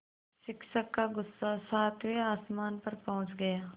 शिक्षक का गुस्सा सातवें आसमान पर पहुँच गया